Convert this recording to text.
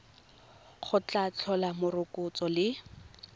go tla tlhola morokotso le